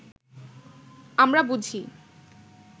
আমরা বুঝি